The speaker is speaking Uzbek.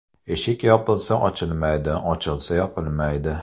Eshik yopilsa ochilmaydi, ochilsa yopilmaydi.